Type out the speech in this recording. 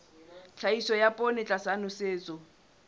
tlhahiso ya poone tlasa nosetso